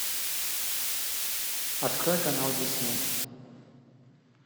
открой канал дисней